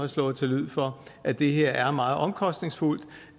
slået til lyd for at det her er meget omkostningsfuldt